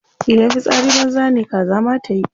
Idan fitsari banza ne kaza ma tayi.